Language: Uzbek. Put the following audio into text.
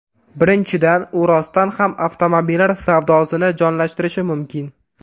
Birinchidan, u rostdan ham avtomobillar savdosini jonlantirishi mumkin.